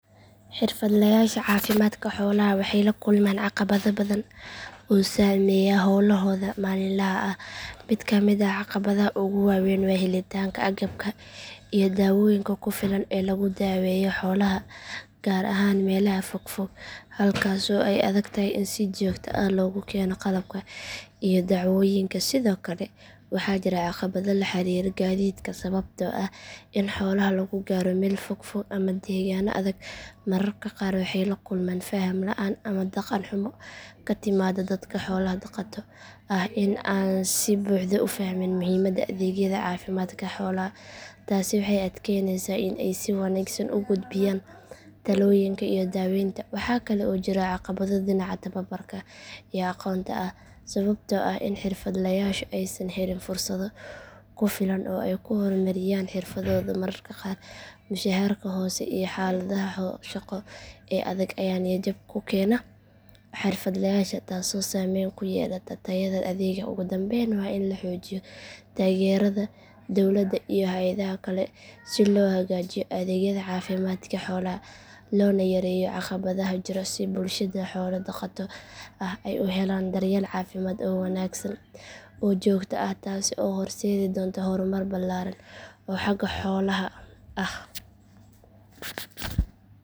Xirfadlayaasha caafimaadka xoolaha waxay la kulmaan caqabado badan oo saameeya howlahooda maalinlaha ah mid ka mid ah caqabadaha ugu waaweyn waa helitaanka agabka iyo dawooyinka ku filan ee lagu daweeyo xoolaha gaar ahaan meelaha fogfog halkaasoo ay adag tahay in si joogto ah loogu keeno qalabka iyo daawooyinka sidoo kale waxaa jira caqabado la xiriira gaadiidka sababtoo ah in xoolaha lagu gaaro meelo fogfog ama deegaanno adag mararka qaar waxay la kulmaan faham la’aan ama dhaqan xumo ka timaada dadka xoolo dhaqato ah oo aan si buuxda u fahmin muhiimadda adeegyada caafimaadka xoolaha taasi waxay adkeynaysaa in ay si wanaagsan u gudbiyaan talooyinka iyo daaweynta waxaa kale oo jira caqabado dhinaca tababarka iyo aqoonta ah sababtoo ah in xirfadlayaashu aysan helin fursado ku filan oo ay ku horumariyaan xirfadooda mararka qaar mushaharka hoose iyo xaaladaha shaqo ee adag ayaa niyad jab ku keena xirfadlayaasha taasoo saameyn ku yeelata tayada adeegga ugu dambeyn waa in la xoojiyo taageerada dowladda iyo hay’adaha kale si loo hagaajiyo adeegyada caafimaadka xoolaha loona yareeyo caqabadaha jira si bulshada xoolo dhaqato ah ay u helaan daryeel caafimaad oo wanaagsan oo joogto ah taas ayaa horseedi doonta horumar ballaaran oo xagga xoolaha ah